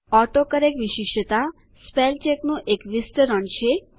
autocorrect વિશિષ્ટતા spellcheck નું એક વિસ્તરણ એક્સટેન્શન છે